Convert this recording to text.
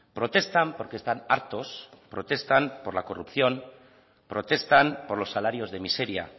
protestan porque están hartos protestan por la corrupción protestan por los salarios de miseria